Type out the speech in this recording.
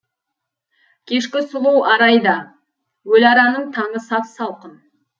кешкі сұлу арай да өліараның таңы сап салқын